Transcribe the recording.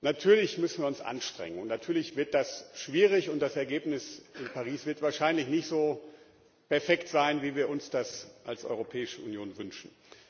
Natürlich müssen wir uns anstrengen, natürlich wird das schwierig, und das Ergebnis in Paris wird wahrscheinlich nicht so perfekt sein, wie wir uns das als Europäische Union wünschen.